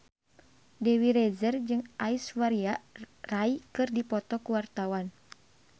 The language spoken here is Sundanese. Dewi Rezer jeung Aishwarya Rai keur dipoto ku wartawan